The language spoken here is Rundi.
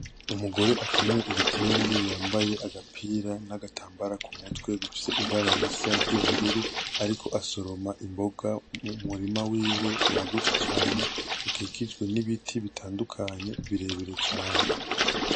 Umugore akenyeye igitenge yambaye agapira n'agatambara ku mutwe bifise ibara risa ry'ubururu ariko asoroma imboga mu murima wiwe wagutse cane ukikijwe n'ibiti bitandukanye birebire cane.